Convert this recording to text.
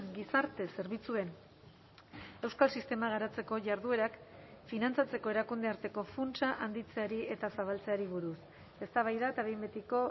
gizarte zerbitzuen euskal sistema garatzeko jarduerak finantzatzeko erakundearteko funtsa handitzeari eta zabaltzeari buruz eztabaida eta behin betiko